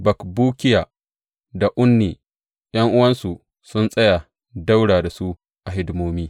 Bakbukiya da Unni, ’yan’uwansu sun tsaya ɗaura da su a hidimomi.